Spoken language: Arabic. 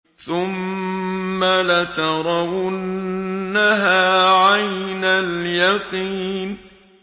ثُمَّ لَتَرَوُنَّهَا عَيْنَ الْيَقِينِ